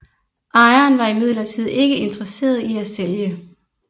Ejeren var imidlertid ikke interesseret i at sælge